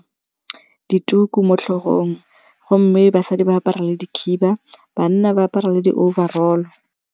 Dituku mo tlhogong gomme basadi ba apara le dikhiba, banna ba apara le di-overall.